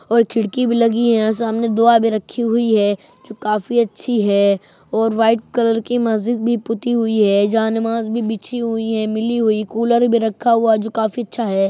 और खिड़की भी लगी है | यहाँ सामने दुआ भी रखी हुई है जो काफ़ी अच्छी है और वाइट कलर की मस्जिद भी पुती हुई है जानेमाज़ भी बिछी हुई है मिली हुई कूलर भी रखा हुआ है जो काफ़ी अच्छा है।